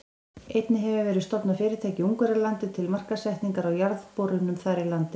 Einnig hefur verið stofnað fyrirtæki í Ungverjalandi til markaðssetningar á jarðborunum þar í landi.